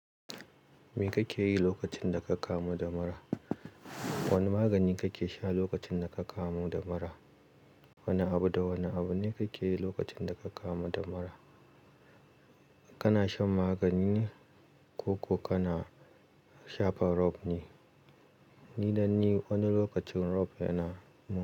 Me kake yi lokacin da ka kamu da mura? Wane magani kake sha lokacin da ka kamu damura? Wane abu da wane abu ne kake yi lokacin da ka kama damara? Kana shan magani ne koko kana shafa rof ne? Ni nan ni wani lokacin rof yana mun.